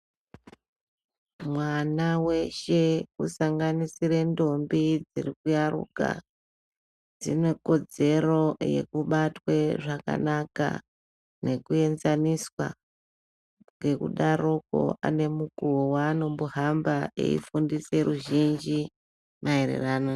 Mwana weshe kusanganisire ndombi dziri kuyaruka, dzine kodzero yekubatwe zvakanaka nekuenzaniswa. Ngekudaroko ane mukuwo wevanombohamba eifundise ruzhinji, maererano...